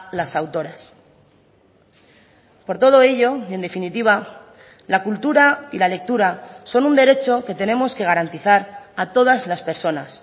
las autoras por todo ello y en definitiva la cultura y la lectura son un derecho que tenemos que garantizar a todas las personas